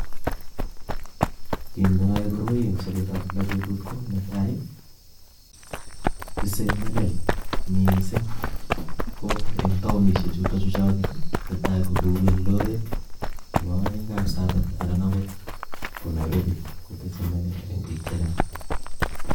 Kiit neyoe koroi en sobetab kila betut ko netai tisee melel mising ko en taonishe chuton chuchoket, netai ko kou Eldoret nebo oeng kapsabet anan okot ko Nairobi kotise melel eng' biik chechang